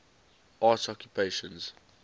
arts occupations